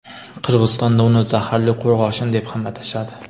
Qirg‘izistonda uni "zaharli qo‘rg‘oshin" deb ham atashadi.